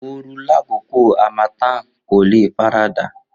Ooru lakoko harmattan ko le farada